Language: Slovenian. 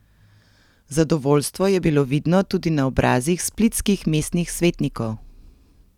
Zadovoljstvo je bilo vidno tudi na obrazih splitskih mestnih svetnikov.